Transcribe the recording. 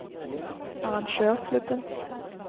arrangørklubben